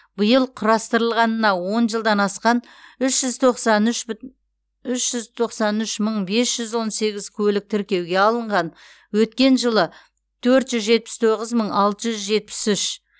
биыл құрастырылғанына он жылдан асқан үш жүз тоқсан үш бүт үш жүз тоқсан үш мың бес жүз он сегіз көлік тіркеуге алынған өткен жылы төрт жүз жетпіс тоғыз мың алты жүз жетпіс үш